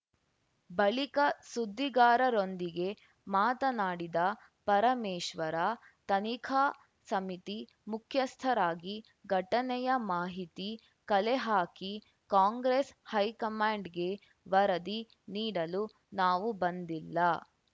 ಬಳಿಕ ಸುದ್ದಿಗಾರರೊಂದಿಗೆ ಮಾತನಾಡಿದ ಪರಮೇಶ್ವರ ತನಿಖಾ ಸಮಿತಿ ಮುಖ್ಯಸ್ಥರಾಗಿ ಘಟನೆಯ ಮಾಹಿತಿ ಕಲೆ ಹಾಕಿ ಕಾಂಗ್ರೆಸ್‌ ಹೈಕಮಾಂಡ್‌ಗೆ ವರದಿ ನೀಡಲು ನಾವು ಬಂದಿಲ್ಲ